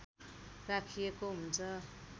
राखिएको हुन्छ